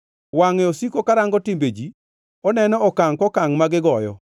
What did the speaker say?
“Wangʼe osiko karango timbe ji; oneno okangʼ kokangʼ ma gigoyo.